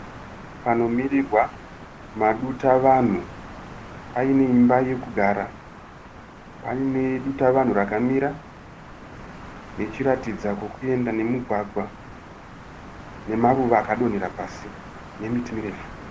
Panomirirwa maduta vanhu. Pane imba yekugara. Pane duta vanhu rakamira rechiratidza kwekuenda nemugwagwa nemaruva akadonhera pasi nemiti mirefu.